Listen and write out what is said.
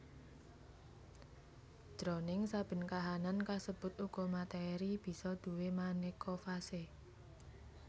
Jroning saben kahanan kasebut uga matèri bisa duwé manéka fase